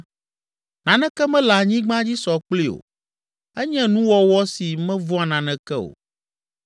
Naneke mele anyigba dzi sɔ kplii o, enye nuwɔwɔ si mevɔ̃a naneke o.